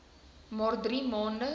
maar drie maande